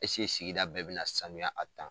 Eseke sigida bɛɛ bɛ na sanuya a